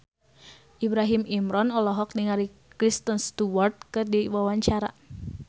Ibrahim Imran olohok ningali Kristen Stewart keur diwawancara